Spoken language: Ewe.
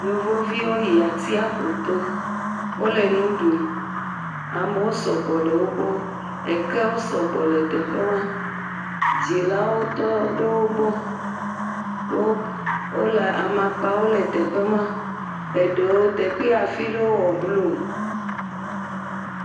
Yevuviwo yi atiaƒuto wole nu ɖum. Amewo sɔgbɔ le wo gbɔ. Ekewo sɔ gbɔ le teƒe ma. Dzilawo tɔ ɖe wo gbɔ. Wɔwo k amakpawo le teƒe ma. Eɖewo teƒe afi aɖewo wɔ blu